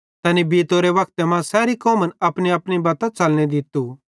तैनी बीतोरे वक्ते मां सैरी कौमन अपनीअपनी बत्तां च़लने दित्तू